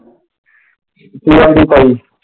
ਕੀ ਆਖਦੀ ਤਾਈਂ?